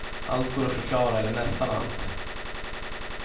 Allt går att förklara, eller nästan allt.